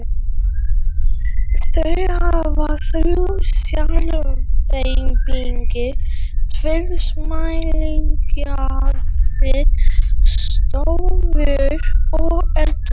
Þau hafa þrjú svefnherbergi, tvær samliggjandi stofur og eldhús.